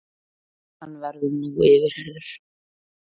Hann verður nú yfirheyrður